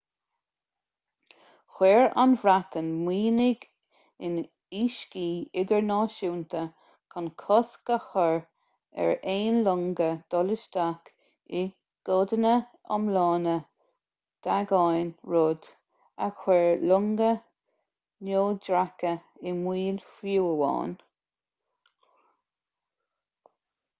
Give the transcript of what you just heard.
chuir an bhreatain mianaigh in uiscí idirnáisúnta chun cosc a chur ar aon longa dul isteach i gcodanna iomlána d'aigéan rud a chuir longa neodracha i mbaol fiú amháin